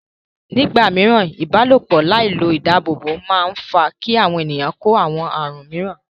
Nígbà mìíràn, ìbálòpọ̀ láì lo ìdáàbòbò máa ń fà á kí àwọn ènìyàn kó àwọn àrùn míràn.